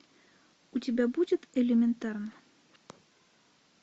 у тебя будет элементарно